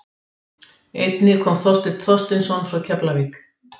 Einnig kom Þorsteinn Þorsteinsson frá Keflavík.